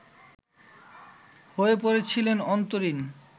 হয়ে পড়েছিলেন অন্তরীণ